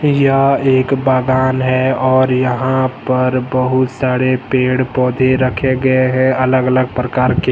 यह एक बागान है और यहां पर बहुत साड़े पेड़ पौधे रखे गए हैं अलग अलग परकार के।